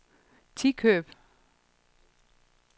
Tikøb